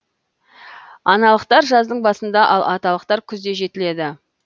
аналықтар жаздың басында ал аталықтары күзде жетіледі